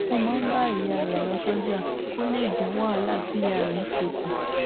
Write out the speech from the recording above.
ó máa ń bá ìyá rè lọ sójà kó lè dín wàhálà tí ìyá rè ń ṣe kù